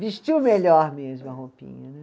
Vestiu melhor mesmo a roupinha né.